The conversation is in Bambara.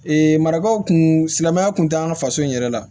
Ee marakaw kun silamɛya kun t'an ka faso in yɛrɛ la